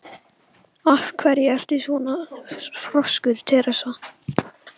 Af hverju ertu svona þrjóskur, Teresía?